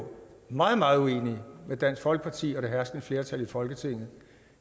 meget meget uenige med dansk folkeparti og det herskende flertal i folketinget